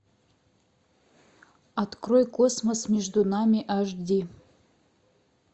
открой космос между нами аш ди